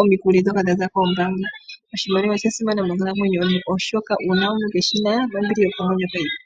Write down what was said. omikuli dhoka dhaza koombanga. Oshimaliwa osha simana monkalamwenyo yoye oshoka uuna omuntu keshina nombili yokomwenyo kayipo.